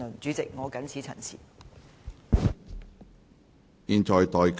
主席，本人謹此陳辭。